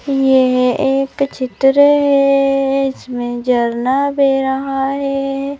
ये एक चित्र है जिसमें झरना बेह रहा है।